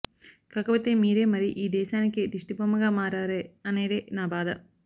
కాకపోతే మీరే మరీ ఈ దేశానికే దిష్టిబొమ్మగా మారారే అనేదే నా బాధ